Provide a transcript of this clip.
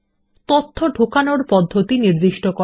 তথ্য ঢোকানোর পদ্ধতি নির্দিষ্ট করা